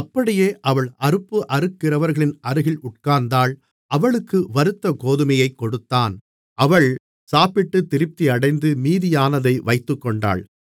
அப்படியே அவள் அறுப்பு அறுக்கிறவர்களின் அருகில் உட்கார்ந்தாள் அவளுக்கு வறுத்த கோதுமையைக் கொடுத்தான் அவள் சாப்பிட்டு திருப்தியடைந்து மீதியானதை வைத்துக்கொண்டாள்